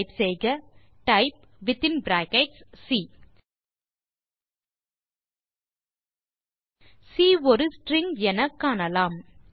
type செய்க type within brackets C C ஒரு string எனக்காணலாம்